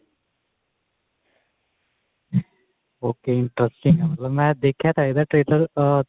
okay interesting ਮੈਂ ਦੇਖਿਆ ਤਾਂ ਹੈਗਾ trailer ah